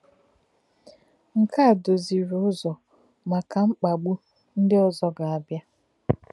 Nke a dòzìrì Ụ́zọ̀ maka mkpagbù ndị ọzọ gàá bịa.